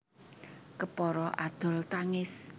Kepara adol tangis